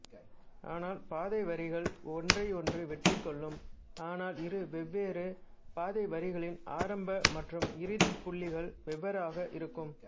ஆனால் பாதைவரிகள் ஒன்றையொன்று வெட்டிக்கொள்ளும் ஆனால் இரு வெவ்வேறு பாதைவரிகளின் ஆரம்ப மற்றும் இறுதிப் புள்ளிகள் வெவ்வேறாக இருக்கும்